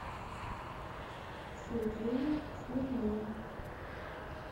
сергею смирнову